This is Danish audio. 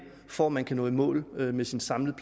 for at man kan nå i mål med den samlede